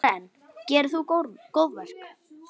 Karen: Gerir þú góðverk?